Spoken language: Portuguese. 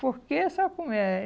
Porque, sabe como é?